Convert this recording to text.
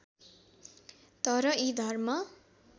तर यी धर्म